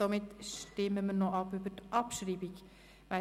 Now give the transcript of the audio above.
Somit stimmen wir über die Abschreibung ab.